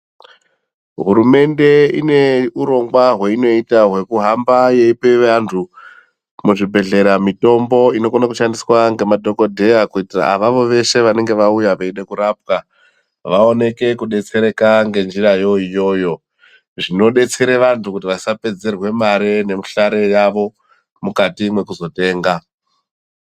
Hurumende ineurongwa hwaionoita hwekuhamba veipa vantu muzvibhehlera mutombo inokone kushandiswa ngemadhokodheya kuitira avavo veshe vanenge vauya veide kurapwa vaoneke kudetsereka ngenjirayo iyoyo zvinodetsere vantu kuti vasapedzerwe mare nemuhlare yavo mukati mwekuzotenga.